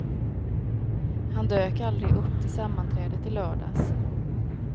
Han dök aldrig upp till sammanträdet i lördags.